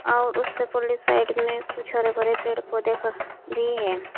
और उससे परली साइड में कुछ हरे भरे पेड़ पौधे ख भी हैं।